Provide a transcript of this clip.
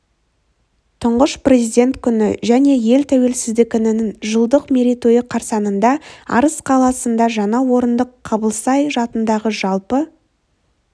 тұңғыш президент күні және ел тәуелсіздігінің жылдық мерейтойы қарсаңында арыс қаласында жаңа орындық қабылсай атындағы жалпы